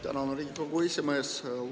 Tänan, Riigikogu esimees!